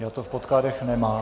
Já to v podkladech nemám.